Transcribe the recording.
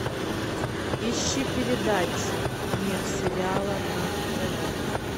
ищи передачу мир сериала на тв